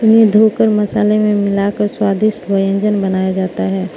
इन्हें धोकर मसाले में मिलाकर स्वादिष्ट व्यंजन बनाया जाता है।